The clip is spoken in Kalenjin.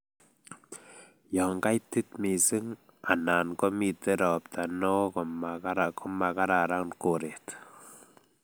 yo kaitit mising anan komiten ropta neoo komagararan koret